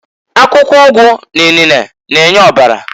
Akwụkwọ ụgụ n'inene na-enye ọbara.